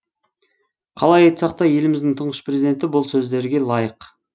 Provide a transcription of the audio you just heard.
қалай айтсақ та еліміздің тұңғыш президенті бұл сөздерге лайық